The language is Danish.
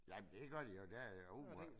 Jamen det gør de jo der er jo åbenbart